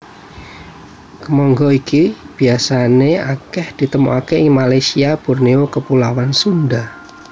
Kemangga iki biasané akèh ditemokaké ing Malasyia Borneo Kepulauan Sunda